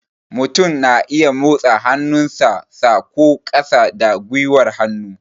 Mutum na iya motsa hannu sa, sa ko ƙasa da gwiwar hannu